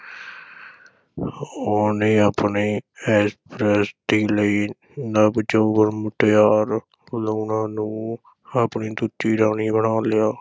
ਉਹਨੇ ਆਪਣੀ ਐਸ਼ਪ੍ਰਸਤੀ ਲਈ ਨਵ-ਜੋਬਨ ਮੁਟਿਆਰ ਲੂਣਾਂ ਨੂੰ ਆਪਣੀ ਦੂਜੀ ਰਾਣੀ ਬਣਾ ਲਿਆ।